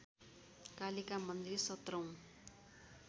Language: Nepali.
कालिका मन्दिर सत्रौँ